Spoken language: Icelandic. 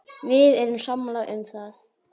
Við erum sammála um það.